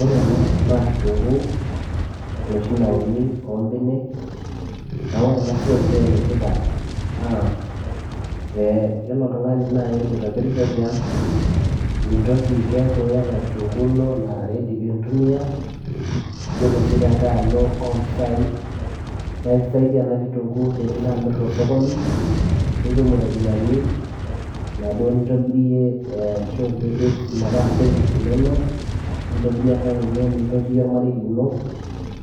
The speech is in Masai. ore ena naa kitunguu enoshi nauni oombenek neeku ore ena siai pee enetipat naa ee yiolo oltung'ani naaji loitobirisho tiang mintoki keeku iyata kitunguu ino nara ready piintumiya yiolo sii tenkay alo oompisai naa ikisaidia ena kitunguu tenilo amirr tosokoni nitum iropiyiani inaduo nintobirie ashu nipik metaa savings inonok nintobirie enkang ino nintotiyie olmarei lino